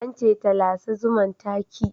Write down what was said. An ce ta lasa zuman, ta ki